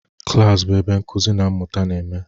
Klas bụ ebe nkuzi na mmụta na-eme.